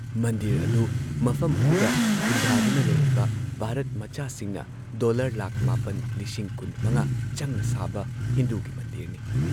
ꯃꯟꯗꯤꯔ ꯑꯗꯨ ꯃꯐꯝ ꯑꯗꯨꯗ ꯈꯨꯟꯗꯥꯗꯨꯅ ꯂꯩꯔꯤꯕ ꯚꯥꯔꯠ ꯃꯆꯥꯁꯤꯡꯅ ꯗꯣꯜꯂꯔ ꯹꯲꯵꯰꯰꯰ ꯆꯪꯅ ꯁꯥꯕ ꯍꯤꯟꯗꯨꯒꯤ ꯃꯟꯗꯤꯔꯅꯤ ꯫